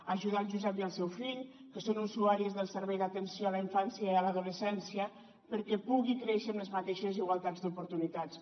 ajudar el josep i el seu fill que són usuaris del servei d’atenció a la infància i a l’adolescència perquè pugui créixer amb les mateixes igualtats d’oportunitats